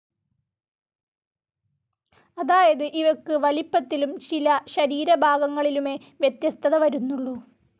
അതായത് ഇവയ്ക്ക് വലിപ്പത്തിലും ചില ശരീരഭാഗങ്ങളിലുമേ വ്യത്യസ്തത വരുന്നുള്ളൂ.